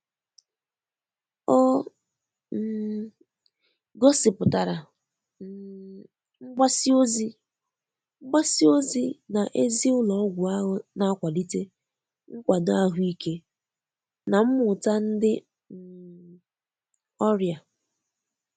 o um gosipụtara um mgbasi ozi mgbasi ozi na ezi ụlo ọgwụ ahu na-akwalite nkwado ahuike na mmuta ndi um ọria